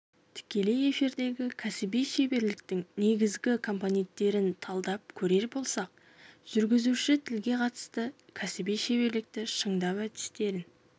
тікелей эфирдегі кәсіби шеберліктің негізгі компоненттерін талдап көрер болсақ жүргізуші тілге қатысты кәсіби шеберлікті шыңдау әдістерін